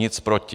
Nic proti.